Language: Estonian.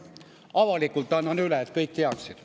Avalikult annan üle, et kõik teaksid.